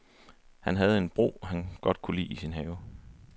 Han havde en bro, han godt kunne lide i sin have.